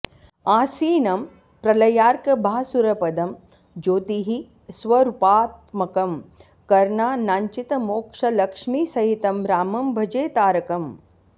आसीनं प्रलयार्कभासुरपदं ज्योतिः स्वरूपात्मकं कर्णानाञ्चितमोक्षलक्ष्मिसहितं रामं भजे तारकम्